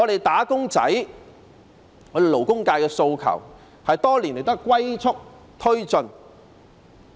"打工仔"、勞工界的訴求多年來也是"龜速"推進。